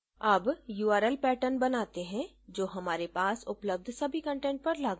अबurl patterns बनाते हैं जो हमारे पास उपलब्ध सभी कंटेंट पर लागू होगा